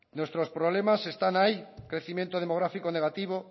nuestros problemas están ahí crecimiento demográfico negativo